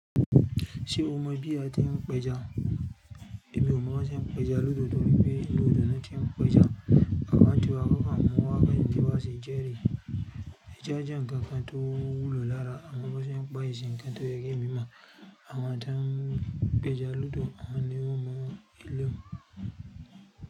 Ṣe o mọ bi a ti ń pẹjà? Emiì ò mọ ọ́n bí wọn ṣe e ń pẹja lódò, torí pé inú odò náà ti ń pẹjà. Àwan tiwà ń kọ́kàn ọmọ wákàn ní ìgbà tí wa ṣe jẹrè. Ẹá jẹ́ nǹkan tó wúlò lára àmọn bí wọn ṣe npa kì ṣe nkan tí èmi mọ̀, àwọn tán ń pàeà lódò, àwọn ni ò mọ eleún.